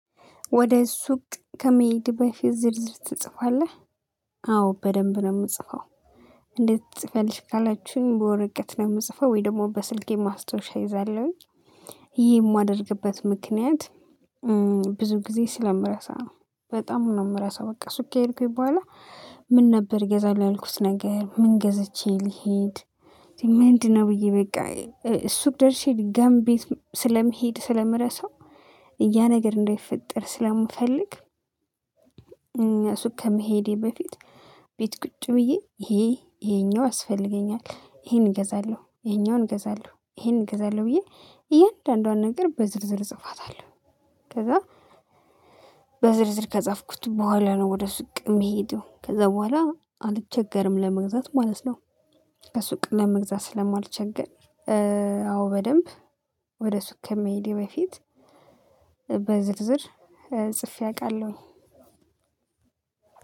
ወደ ሱቅ ከመሄድ በፊት ዝርዝር ትጽፋለህ አዎ በደንብ ነው የምጽፈው። እንዴት ትጽፊያለሽ? ካላችሁኝ በወረቀት ነው የምጽፈው ወይ ደግሞ በስልኬ ማስታወሻ እይዛለሁኝ። ይሄን የማደርግበት ምክንያት ብዙ ጊዜ ስለምረሳ ነው። በጣም ነው የምረሳው በቃ ሱቄ ሄድኩኝ በኋላ። ምን ነበር እገዛለሁ ያልኩት ነገር ምን ገዝቼ ልሄድ። ምንድነው ብዬ በቃ። ሱቅ ደርሼ ድጋሚ ቤት ስለምሄድ ስለምረሳ። ያ ነገር እንዳይፈጠር ስለምፈልግ። እኛ ሱቅ ከመሄዴ በፊት ቤት ቁጭ ብዬ ይሄ ይሄኛው ያአስፈልገኛል ይሄን እገዛለሁ ይሄኛውን እገዛለሁ ይሄን እገዛለሁ ብዬ እያንዳንዷን ነገር በዝርዝር እጽፋታለሁ። ከዛ በዝርዝር ከጻፍኩት በኋላ ነው ወደ ሱቅ የምሄደው ከዛ በኋላ አልቸገርም ለመግዛት ማለት ነው። ከሱቅ ለመግዛት ስለማልቸገር። አዎ በደንብ ወደ ሱቅ ከመሄዴ በፊት በዝርዝር ጽፌ አውቃለሁ።